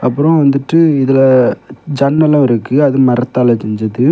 அப்புறம் வந்துட்டு இதுல ஜன்னலும் இருக்கு அது மரத்தால செஞ்சது.